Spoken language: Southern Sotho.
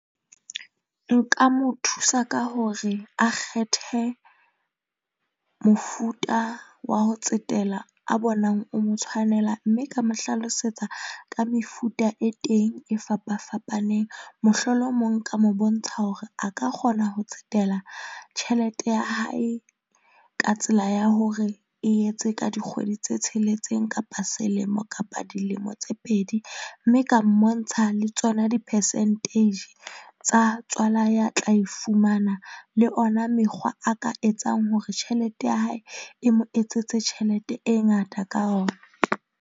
Nka mo thusa ka hore a kgethe mofuta wa ho tsetela a bonang, o mo tshwanela, mme ka mo hlalosetsa ka mefuta e teng e fapa fapaneng. Mohlolomong nka mo bontsha hore a ka kgona ho tsetela tjhelete ya hae ka tsela ya hore e etse ka dikgwedi tse tsheletseng kapa selemo kapa dilemo tse pedi mme e ka mmontsha ng le tsona di-percentage tsa tswala ya tla e fumana le ona mekgwa a ka etsang hore tjhelete ya hae e mo etsetse tjhelete e ngata ka ona.